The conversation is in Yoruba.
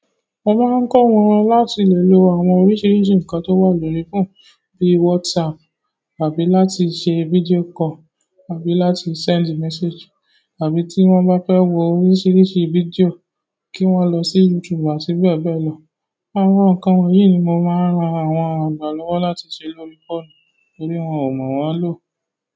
Mo máa ń kọ wọn ra láti lè lo àwọn oríṣiríṣi nǹkan tó wà lórí fóònù bíi WhatsApp, àbí láti ṣe video call, àbí láti send message, àbí tí wọ́n bá fẹ́ wo oríṣiríṣi fídíò, kí wọ́n lọ sí YouTube àti bẹ́ẹ̀ bẹ́ẹ̀ lọ. Àwọn nǹkan wọ̀nyí ni mo máa ń ran àwọn àgbà lọ́wọ́ láti ṣe lórí fóònù torí wọ́n ò mọ̀ wọ́n lọ̀.